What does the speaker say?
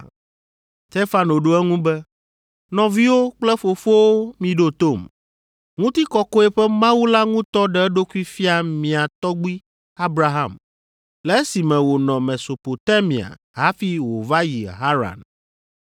Stefano ɖo eŋu be, “Nɔviwo kple fofowo miɖo tom. Ŋutikɔkɔe ƒe Mawu la ŋutɔ ɖe eɖokui fia mía tɔgbui Abraham le esime wònɔ Mesopotamia hafi wòva yi Haran.